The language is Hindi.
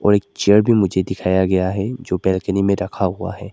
और एक चेयर भी मुझे दिखाया गया है जो बालकनी में रखा हुआ है।